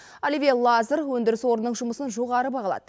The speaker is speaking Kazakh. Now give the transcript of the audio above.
оливье лазар өндіріс орнының жұмысын жоғары бағалады